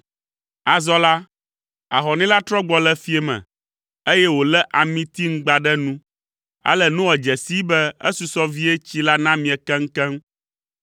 Azɔ la, ahɔnɛ la trɔ gbɔ le fiẽ me, eye wòlé amitiŋgba ɖe nu. Ale Noa dze sii be esusɔ vie tsi la namie keŋkeŋ.